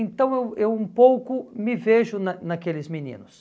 Então eu eu um pouco me vejo na naqueles meninos.